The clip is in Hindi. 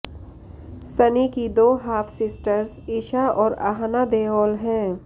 सनी की दो हाफ सिस्टर्स ईशा और आहना देओल हैं